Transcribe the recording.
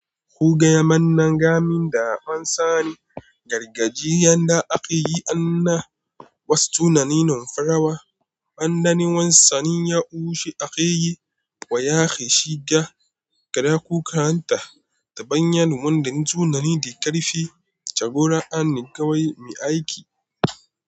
Ko gaya mana gaming da ban sani, gargajiyan da ake yi an na wasu tunaninin farawa, ban dani wani sannin ya'ushe ake yi wa ya ke shi ga gaɗa kuka han ta, ta bayan wanda tunani da karfi jagora an ni kawai mai aiki.